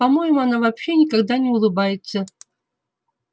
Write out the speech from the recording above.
по моему она вообще никогда не улыбается